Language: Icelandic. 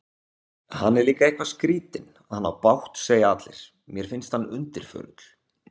Hann er líka eitthvað skrýtinn, hann á bágt segja allir, mér finnst hann undirförull.